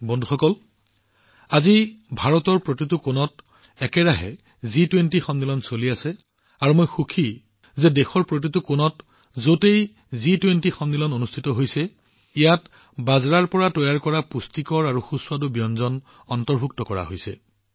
বন্ধুসকল আজি ভাৰতৰ প্ৰতিটো কোণতে জি২০ সন্মিলনৰ অনুষ্ঠান চলি আছে আৰু মই সুখী যে দেশৰ প্ৰতিটো কোণত যতেই জি২০ সন্মিলন অনুষ্ঠিত কৰা হৈছে ততেই বাজৰাৰ পৰা তৈয়াৰ কৰা পুষ্টিকৰ আৰু সুস্বাদু ব্যঞ্জন অন্তৰ্ভুক্ত কৰা হৈছে